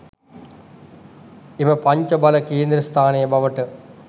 එම පංච බල කේන්ද්‍රස්ථානය බවට